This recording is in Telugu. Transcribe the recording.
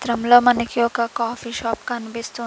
చిత్రంలో మనకు ఒక కాఫీ షాప్ కనిపిస్తు--